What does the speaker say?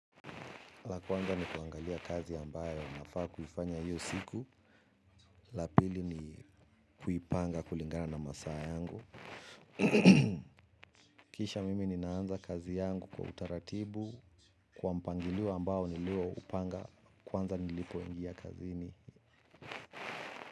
La kwanza ni kuangalia kazi ambayo nafaa kuifanya hiyo siku. La pili ni kuipanga kulingana na masaa yangu. Kisha mimi ninaanza kazi yangu kwa utaratibu. Kwa mpangilio ambao nilioupanga kwanza nilipoingia kazini.